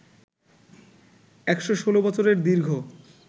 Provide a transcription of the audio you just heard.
১১৬ বছরের দীর্ঘ